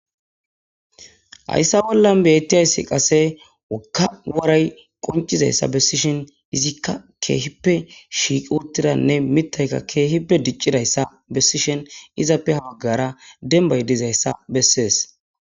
hayssa bollan bettiyayssi qase wokka waray qoncizayssa bessishen izikka keehippe shiiq urtidanne mittayka keehippe diccidayssa bessishen izappe haaggara dembay dizayssa bessees